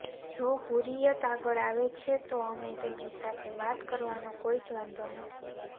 જો હુર્રિયત આગળ આવે છે તો અમે તેમની સાથે વાત કરવાનો કોઇ જ વાંધો નથી